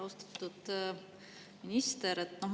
Austatud minister!